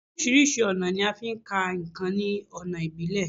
Orísirísi ọ̀nà ni a ń fí ka ǹkan ní ọ̀nà ìbílẹ̀